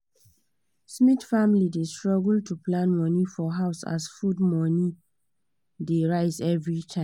smith family dey struggle to plan money for house as food money dey rise every time